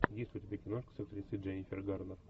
есть ли у тебя киношка с актрисой дженнифер гарнер